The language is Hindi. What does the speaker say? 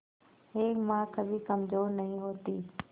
एक मां कभी कमजोर नहीं होती